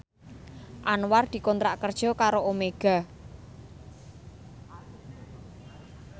Anwar dikontrak kerja karo Omega